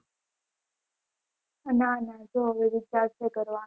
ના ના તો હવે તો વિચાર વિચાર તો કરવાનો